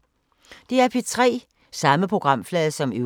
DR P3